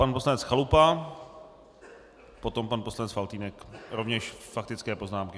Pan poslanec Chalupa, potom pan poslanec Faltýnek, rovněž faktické poznámky.